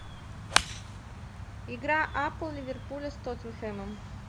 игра апл ливерпуля с тоттенхэмом